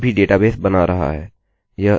अतः यह अभी डेटाबेस बना रहा है